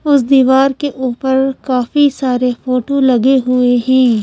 उस दीवार के ऊपर काफी सारे फोटो लगे हुए हैं।